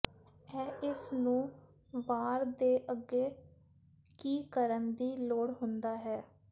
ਇਹ ਇਸ ਨੂੰ ਵਾਰ ਦੇ ਅੱਗੇ ਕੀ ਕਰਨ ਦੀ ਲੋੜ ਹੁੰਦਾ ਹੈ